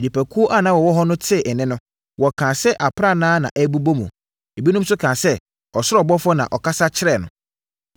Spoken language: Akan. Nnipakuo a na wɔwɔ hɔ no tee nne no, wɔkaa sɛ aprannaa na ɛrebobɔ mu. Ebinom nso kaa sɛ, ɔsoro ɔbɔfoɔ na ɔkasa kyerɛɛ no.